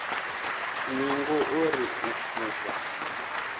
ningo o ri u fhufha